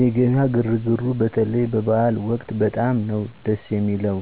የገበያ ግርግሩ በተለይ በበዐል ወቅት በጣም ነዉ ድስ የሚለዉ